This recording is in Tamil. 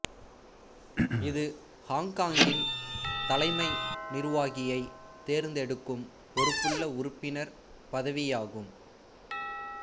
இது ஹாங்காங்கின் தலைமை நிர்வாகியைத் தேர்ந்தெடுக்கும் பொறுப்புள்ள உறுப்பினர் பதவியாகும்